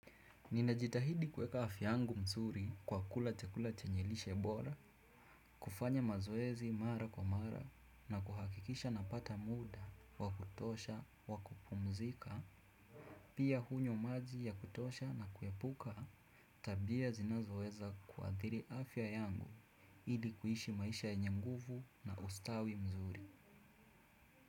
Ninajitahidi kuweka afya yangu mzuri kwa kula chakula chenye lishe bora, kufanya mazoezi mara kwa mara na kuhakikisha napata muda, wa kutosha, wa kupumzika, pia hunywa maji ya kutosha na kuepuka tabia zinazoweza kuathiri afya yangu ili kuishi maisha yenye nguvu na ustawi mzuri.